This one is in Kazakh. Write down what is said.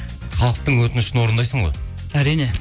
халықтың өтінішін орындайсың ғой әрине